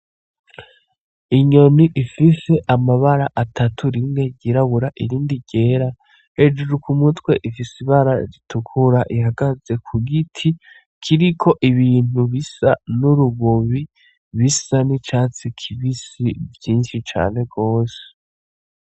Inyoni ifise amabara atatu rimwe ryirabura irindi ryera hejuru k'umutwe ifise ibara ritukura ihagaze ku giti kiriko ibintu bisa n' urubobi bisa n' icatsi kibisi vyinshi cane gose.